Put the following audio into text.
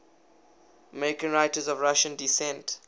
american writers of russian descent